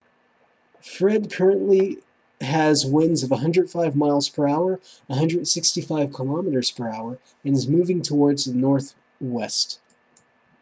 fred currently has winds of 105 miles per hour 165 km/h and is moving towards the northwest